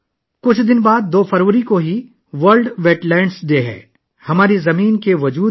کچھ دنوں بعد، 2 فروری کو، یہ عالمی ویٹ لینڈ ڈے منایا جائے گا